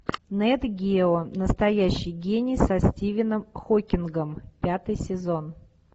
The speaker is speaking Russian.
нет гео настоящий гений со стивеном хокингом пятый сезон